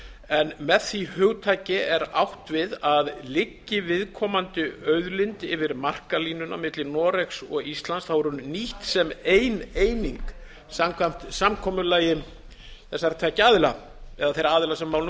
en með því hugtaki er átt við að liggi viðkomandi auðlind yfir markalínuna milli noregs og íslands er hún nýtt sem ein eining samkvæmt sa samkomulagi þessara tveggja aðila eða þeirra aðila sem að